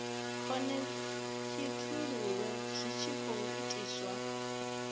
khonekhithululwe zwi tshi khou itiswa